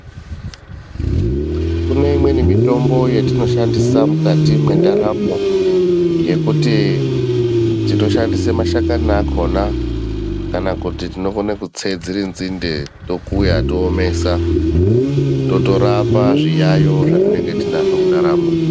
Kune imweni mitombo yatinoshandisa mukati mendaramo yekuti tinoshandisa mashakani akona kana kuti tinokona kutse dziri nzinde tokuya toomesa totokone kurapa zviyayo zvatinenge tinazvo mundaramo.